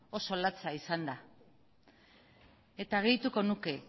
oso latza izan da eta gehituko nuke